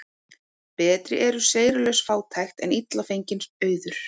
Betri er seyrulaus fátækt en illa fenginn auður.